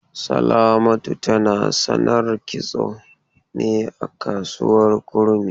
Salamatu tana sanar kitso ne a kasuwar Kurmi.